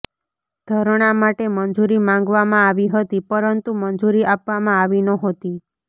ધરણા માટે મંજુરી માંગવામાં આવી હતી પરંતુ મંજુરી આપવામાં આવી નહોતી